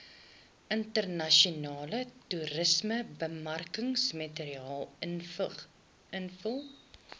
internasionale toerismebemarkingsmateriaal invul